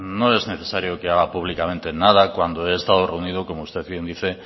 no es necesario que haga públicamente nada cuando he estado reunido como usted bien dice